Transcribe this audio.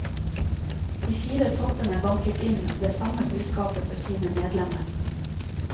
De fire toppene banket inn det samme budskapet for sine medlemmer.